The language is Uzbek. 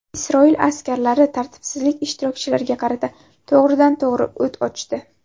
Isroil askarlari tartibsizlik ishtirokchilariga qarata to‘g‘ridan to‘g‘ri o‘t ochdi.